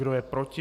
Kdo je proti?